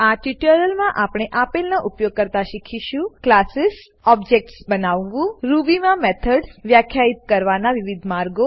આ ટ્યુટોરીયલમાં આપણે આપેલનો ઉપયોગ કરતા શીખીશું ક્લાસીસ ઓબ્જેક્ટ્સ બનાવવું રૂબી માં મેથડ્સ મેથડો વ્યાખ્યિત કરવાના વિવિધ માર્ગો